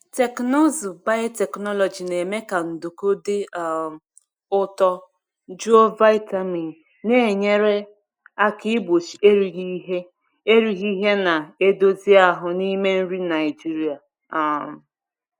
Teknụzụ biotechnology na-eme ka nduku dị um ụtọ juo vitamin, na-enyere aka igbochi erighị ihe erighị ihe na-edozi ahụ n’ime nri Naijiria. um